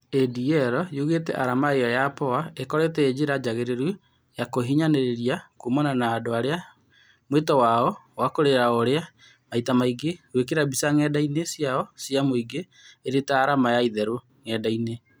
ADL yũgĩte arama ĩyo ya Poa ĩkoretwo ĩ njĩra njagĩrĩru ya kũhinyanĩrĩria kumana na andũ arĩa mwĩto wao wa kũrĩra no urĩa maita maingĩ gwĩkĩra mbica ng'enda inĩ ciao cia mũingĩ, ĩrĩ ta arama ya itherũ ng'enda-inĩ